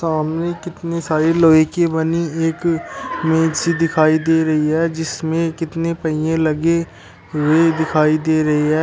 सामने कितनी सारी लोहे कि बनी एक मिक्सी सी दिखाई दे रही है जिसमें कितने पहीये लगे हुए दिखाई दे रहे हैं।